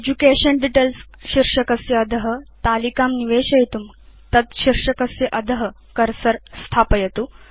education Details शीर्षकस्य अध तालिकां निवेशयितुं कर्सर तद्शीर्षकस्य अध स्थापयतु